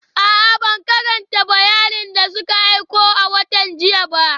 A'a, ban karanta bayanin da suka aiko a watan jiya ba